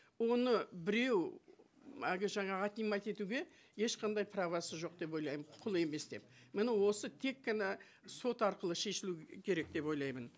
оны біреу әлгі жаңағы отнимать етуге ешқандай правосы жоқ деп ойлаймын құқыл емес деп міне осы тек қана сот арқылы шешілу керек деп ойлаймын